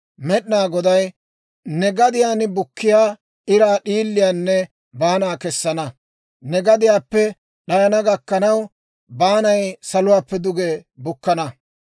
Med'inaa Goday ne gadiyaan bukkiyaa iraa d'iiliyaanne baana kessana; neeni gadiyaappe d'ayana gakkanaw, baanay saluwaappe duge bukkana.